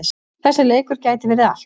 Þessi leikur gæti verið allt.